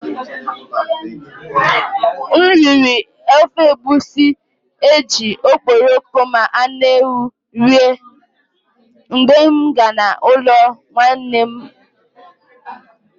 I ate egusi soup prepared with stock fish and goat meat when I visited my aunt.